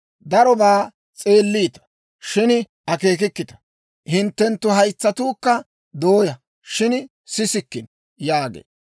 Darobaa s'eelliita; shin akeekikkita. Hinttenttu haytsatuukka dooyaa; shin sisikkino» yaagee.